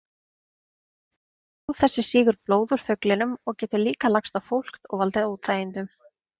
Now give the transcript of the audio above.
Fló þessi sýgur blóð úr fuglinum og getur líka lagst á fólk og valdið óþægindum.